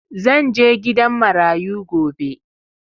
Zan je gidan marayu gobe.